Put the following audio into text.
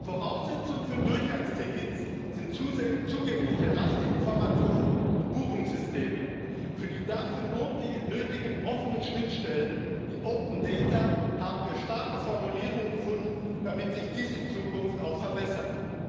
Voraussetzung für Durchgangstickets sind zugängliche Reiseinformationen und Buchungssysteme. Für die dafür nötigen offenen Schnittstellen, die open data haben wir starke Formulierungen gefunden, damit sich dies in Zukunft auch verbessert.